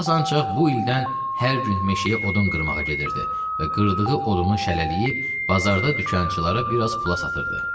Abbas ancaq bu ildən hər gün meşəyə odun qırmağa gedirdi və qırdığı odunu şəlləyib bazarda dükançılara bir az pula satırdı.